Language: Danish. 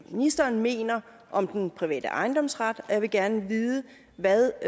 ministeren mener om den private ejendomsret og jeg vil gerne vide hvad